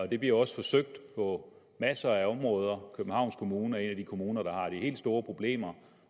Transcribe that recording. det bliver jo også forsøgt på masser af områder københavns kommune er en af de kommuner der har de helt store problemer